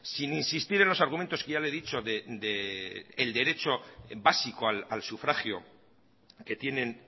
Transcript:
sin insistir en los argumentos que ya le he dicho del derecho básico al sufragio que tienen